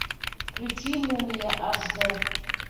включи мумия аш д